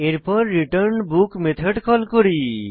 তারপর return book method call করি